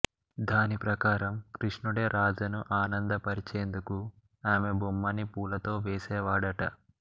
దాని ప్రకారం కృష్ణుడే రాధను ఆనందపరిచేందుకు ఆమె బొమ్మని పూలతో వేసేవాడట